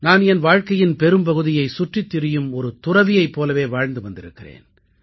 நான் என் வாழ்க்கையின் பெரும்பகுதியை சுற்றித் திரியும் ஒரு துறவியைப் போலவே வாழ்ந்து வந்திருக்கிறேன்